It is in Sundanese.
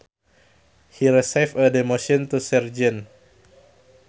He received a demotion to sergeant